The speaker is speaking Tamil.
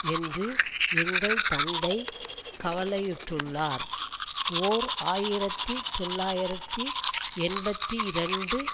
என்று எங்கள் தந்தை கவலையுற்றுள்ளார் ஓர் ஆயிரத்தி தொள்ளாயிரத்தி எண்பத்தி இரண்டு